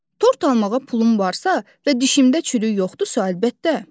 Tort almağa pulum varsa və dişimdə çürük yoxdursa, əlbəttə.